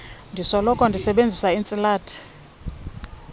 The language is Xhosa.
ndisoloko ndisebenzisa iintsilathi